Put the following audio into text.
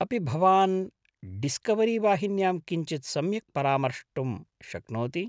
अपि भवान् डीस्कवरीवाहिन्यां किञ्चित् सम्यक् परामर्ष्टुं शक्नोति ?